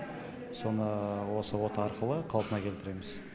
соны осы ота арқылы қалпына келтіреміз